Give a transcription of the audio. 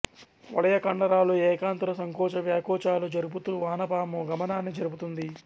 వలయ కండరాలు ఏకాంతర సంకోచ వ్యాకోచాలు జరుపుతూ వానపాము గమనాన్ని జరుపుతుంది